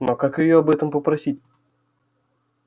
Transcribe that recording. но как её об этом попросить